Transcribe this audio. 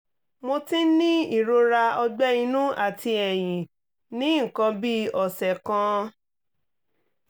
mo ti ń ní ìrora ọ̀gbẹ́ inú àti ẹ̀yìn ní nǹkan bí ọ̀sẹ̀ kan